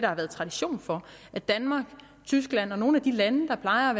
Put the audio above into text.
har været tradition for i danmark tyskland og i nogle af de lande der plejer at